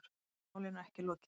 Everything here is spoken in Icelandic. Hann segir málinu ekki lokið.